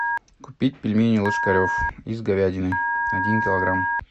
купить пельмени ложкарев из говядины один килограмм